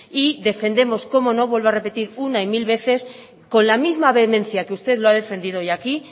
y defendemos cómo no vuelvo a repetir una y mil veces con la misma vehemencia que usted lo ha defendido hoy aquí